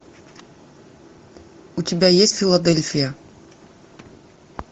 у тебя есть филадельфия